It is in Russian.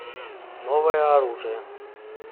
новое оружие